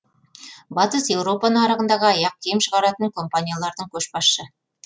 батыс еуропа нарығындағы аяқ киім шығаратын компаниялардың көшбасшы